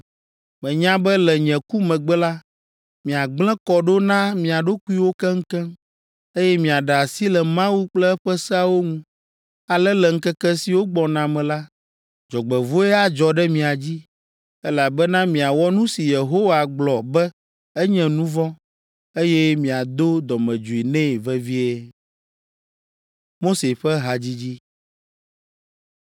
Menya be le nye ku megbe la, miagblẽ kɔ ɖo na mia ɖokuiwo keŋkeŋ, eye miaɖe asi le Mawu kple eƒe seawo ŋu. Ale le ŋkeke siwo gbɔna me la, dzɔgbevɔ̃e adzɔ ɖe mia dzi, elabena miawɔ nu si Yehowa gblɔ be enye nu vɔ̃, eye miado dɔmedzoe nɛ vevie.”